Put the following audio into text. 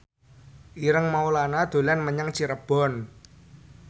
Ireng Maulana dolan menyang Cirebon